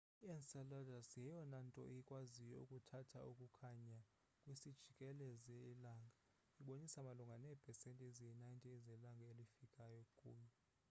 i-enceladus yeyona nto ikwaziyo ukuthatha ukukhanya kwisijikelezi langa ibonisa malunga neepesenti eziyi-90 zelanga elifika kuyo